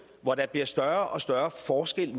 hvor der bliver større og større forskel